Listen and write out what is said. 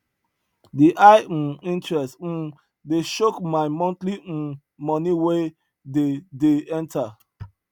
the high um interest um dey choke my monthly um money wey dey dey enter